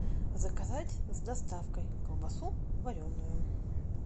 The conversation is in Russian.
заказать с доставкой колбасу вареную